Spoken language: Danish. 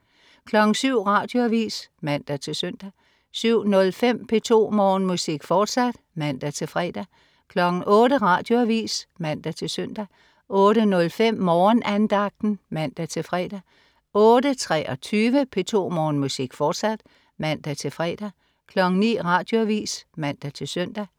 07.00 Radioavis (man-søn) 07.05 P2 Morgenmusik, fortsat (man-fre) 08.00 Radioavis (man-søn) 08.05 Morgenandagten (man-fre) 08.23 P2 Morgenmusik, fortsat (man-fre) 09.00 Radioavis (man-søn)